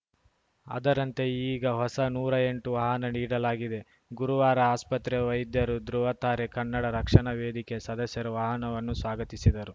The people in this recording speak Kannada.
ಅದರಂತೆ ಈಗ ಹೊಸ ನೂರಾ ಎಂಟು ವಾಹನ ನೀಡಲಾಗಿದೆ ಗುರುವಾರ ಆಸ್ಪತ್ರೆಯ ವೈದ್ಯರು ಧೃವತಾರೆ ಕನ್ನಡ ರಕ್ಷಣಾ ವೇದಿಕೆಯ ಸದಸ್ಯರು ವಾಹನವನ್ನು ಸ್ವಾಗತಿಸಿದರು